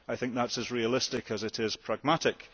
I think that is as realistic as it is pragmatic.